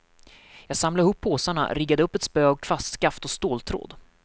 Jag samlade ihop påsarna, riggade upp ett spö av kvastskaft och ståltråd.